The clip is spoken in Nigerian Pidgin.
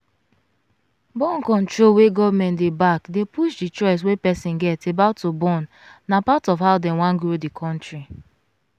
born-control wey government dey backdey push the choice wey person get about to bornna part of how dem wan grow the country.